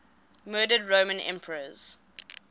murdered roman emperors